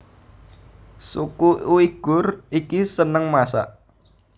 Suku Uighur iki seneng masak